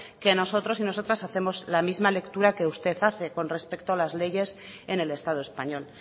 que nosotros y nosotras hacemos la misma lectura que usted hace con respecto a las leyes en el estado español